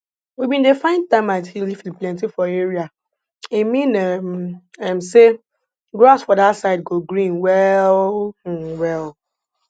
we bin dey find termite hill if e plenty for area e mean um um say grass for that side go green well um well